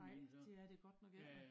Nej det er det godt nok ikke da